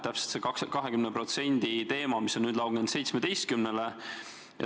Just see 20% teema, mis on nüüd langenud 17%-le.